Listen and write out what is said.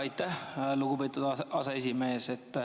Aitäh, lugupeetud aseesimees.